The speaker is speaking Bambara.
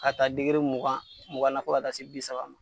Ka taa degere mugan mugan na fo ka taa se bi saba ma.